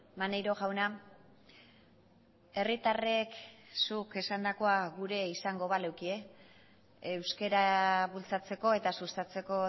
maneiro jauna herritarrek zuk esandakoa gure izango balekie euskara bultzatzeko eta sustatzeko